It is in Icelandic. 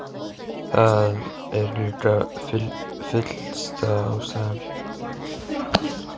Það er líka fyllsta ástæða til.